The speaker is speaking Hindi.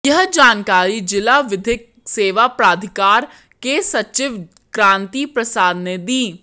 यह जानकारी जिला विधिक सेवा प्राधिकार के सचिव कांति प्रसाद ने दी